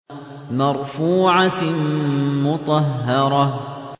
مَّرْفُوعَةٍ مُّطَهَّرَةٍ